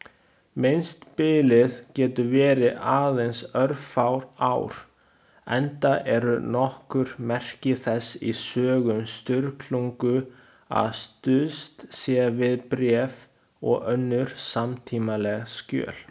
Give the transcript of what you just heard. Minnsta bilið getur verið aðeins örfá ár, enda eru nokkur merki þess í sögum Sturlungu að stuðst sé við bréf og önnur samtímaleg skjöl.